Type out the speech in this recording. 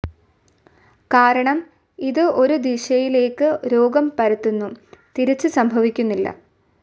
കാരണം ഇത് ഒരു ദിശയിലേക്ക് രോഗം പരത്തുന്നു, തിരിച്ച് സംഭവിക്കുന്നില്ല.